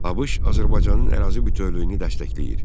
ABŞ Azərbaycanın ərazi bütövlüyünü dəstəkləyir.